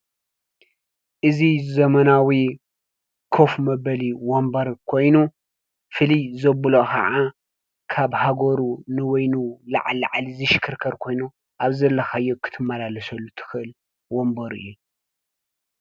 እዚ ዘመናዊ ኮፍ መበሊ ወንበር ኮይኑ ፍልይ ዘብሎ ከዓ ካብ ሃገሩ ንበይኑ ላዕሊ-ላዕሊ ዝሽክርከር ኮይኑ ኣብ ዘለኻዮ ክትመላለሰሉ ትኽእል ወንበር እዩ።